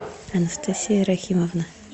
анастасия рахимовна